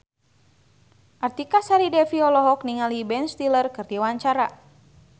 Artika Sari Devi olohok ningali Ben Stiller keur diwawancara